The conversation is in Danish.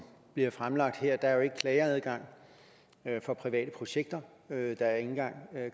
bliver fremlagt her er der jo ikke klageadgang for private projekter er ikke engang